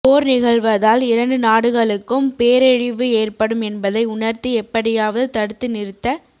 போர் நிகழ்வதால் இரண்டு நாடுகளுக்கும் பேரழிவு ஏற்படும் என்பதை உணர்த்தி எப்படியாவது தடுத்து நிறுத்த